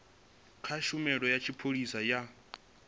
kha tshumelo ya tshipholisa ya